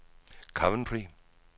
Coventry